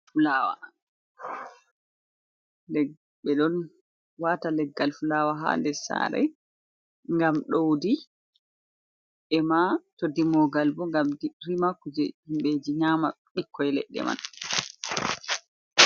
Fulawa, ɓe ɗon wata leggal fulawa ha nder sare ngam ɗowdi e ma to dimogal bo ngam rima kuje himɓeji nyama ɓikkoi leɗɗe man.